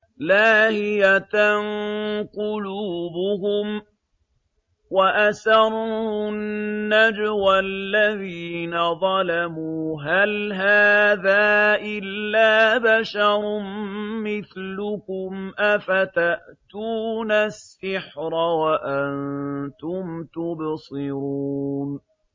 لَاهِيَةً قُلُوبُهُمْ ۗ وَأَسَرُّوا النَّجْوَى الَّذِينَ ظَلَمُوا هَلْ هَٰذَا إِلَّا بَشَرٌ مِّثْلُكُمْ ۖ أَفَتَأْتُونَ السِّحْرَ وَأَنتُمْ تُبْصِرُونَ